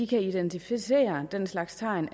kan identificere den slags tegn